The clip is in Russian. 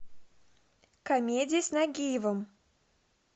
комедия с нагиевым